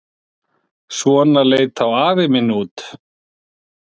Svona leit þá afi minn út.